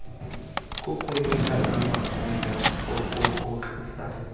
kukunika amagunya okurhoxisa